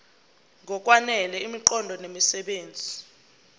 ngokwanele imiqondo nemisebenzi